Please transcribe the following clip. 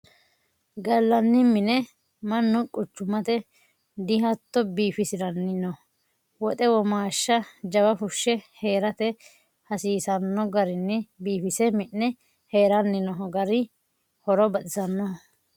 Gallanni mine mannu quchumate dihatto biifisiranni no woxe womaashsha jawa fushe heerate hasiisano garinni biifise mi'ne heeranni noo gari horo baxisanoho.